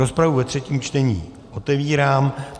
Rozpravu ve třetím čtení otevírám.